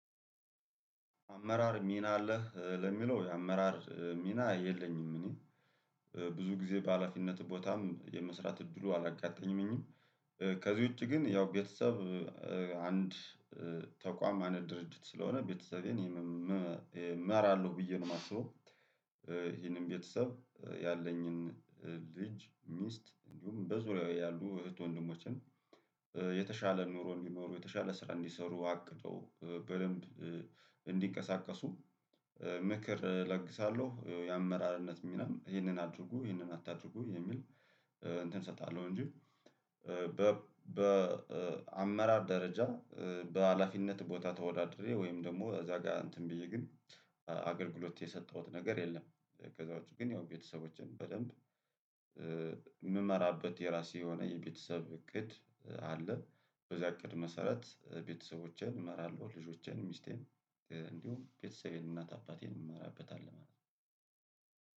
አመራር ሚና አለህ ለሚለው የአመራር ሚና የለኝም። እኔ ብዙ ጊዜ በሃላፊነት ቦታም የመስራት እድሉ አላጋጠኝምኝም ከዚህ ውጪ ግን ያው ቤተሰብ አንድ ተቋም አንድ ድርጅት ስለሆነ ቤተሰቤን እመራለሁ ብዬ ነው የማስበው። ቤተሰብ ያለኝን ልጅ ሚስት እንዲሁም በዙሪያው ያሉ እህት ወንድሞችን የተሻለ ኑሮ እንዲኖሩ የተሻለ ስራ እንዲሰሩ አቅደው በደንብ እንዲቀሰቀሱ ምክር እለግሳለሁ የአመራርነት ሚናም ይህንን አድርጉ ይህንን አታድርጉ የሚል እንትን እሰጣለሁ እንጂ። በአመራር ደረጃ በሃላፊነት ቦታ ተወዳድሬ ወይም ደግሞ እዛ ጋር እንትን ብዬ ግን አገልግሎት የሰጠሁት ነገር የለም። ከዛ ውጪ ግን ያው ቤተሰቦችን በደንብ የምመራበት የራሴ የሆነ የቤተሰብ እቅድ አለ። በዚያ እቅድ መሰረት ቤተሰቦቼን እመራለሁ ልጆቼን ሚስቴን እንዲሁም ቤተሰቤን እናት አባቴን እመራበታለሁ ማለት ነው።